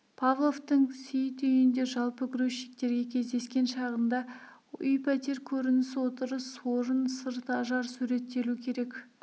павловтың сейіт үйінде жалпы грузчиктерге кездескен шағында үй-пәтер көрініс отырыс орын сырт ажар суреттелу керек